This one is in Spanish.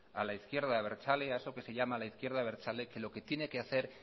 a la izquierda abertzale a eso que se llama la izquierda abertzale que lo que tiene que hacer